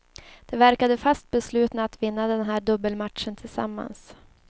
De verkade fast beslutna att vinna den här dubbelmatchen tillsammans.